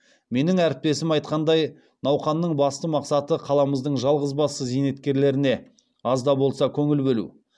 менің әріптесім айтқандай науқанның басты мақсаты қаламыздың жалғызбасты зейнеткерлеріне аз да болса көңіл бөлу